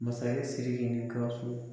Masaya Siriki ni ka so